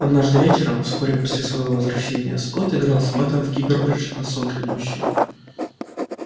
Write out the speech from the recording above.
однажды вечером вскоре после своего возвращения скотт играл с мэттом в криббедж на сон грядущий